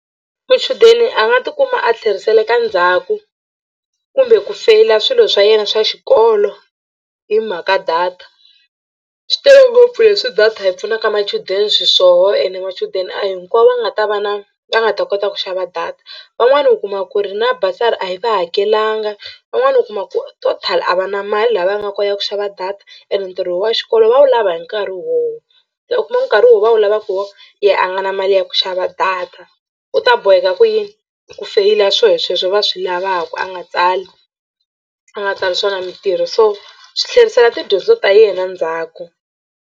Muchudeni a nga tikuma a tlheriseka ndzhaku kumbe ku feyila swilo swa yena swa xikolo hi mhaka data. Swi tele ngopfu leswi data yi pfunaka machudeni xiswona ene machudeni a hinkwavo va nga ta va na va nga ta kota ku xava data. Van'wani u kuma ku ri na bursary a yi va hakelanga van'wani u kuma ku total a va na mali laha va nga kona ya ku xava data ene ntirho wa xikolo va wu lava hi nkarhi wowo se u kuma nkarhi wo va wu lavaka hi wo yehe a nga na mali ya ku xava data u ta boheka ku yini ku feyila swo sweswo va swi lavaka a nga tsali a nga tsali swona mitirho so swi tlherisela tidyondzo ta yena ndzhaku.